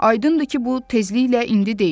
Aydındır ki, bu tezliklə indi deyil.